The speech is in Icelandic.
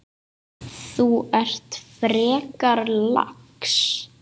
Þú ert frekar lax.